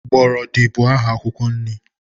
Gbọrọdị bụ aha akwụkwọ nri.